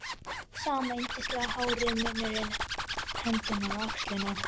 Sama yndislega hárið, munnurinn, hendurnar, axlirnar.